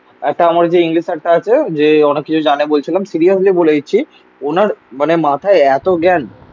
একটা আমার যে ইংলিশ একটা আছে যে অনেক কিছু জানে বলছিলাম. সিরিয়াসলি বলে দিচ্ছি. ওনার মানে মাথায় এতো জ্ঞান.